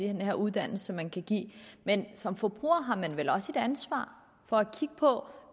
her uddannelse man kan give men som forbruger har man vel også et ansvar for at kigge på